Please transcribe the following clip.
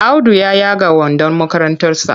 Audu ya yaga wandon makarantarsa.